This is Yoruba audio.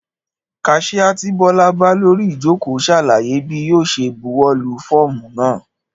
Kas̩íá tí Bó̩lá bá lórí ìjókòó s̩àlàyé bí yóò s̩e buwó̩ lu fó̩ò̩mù náà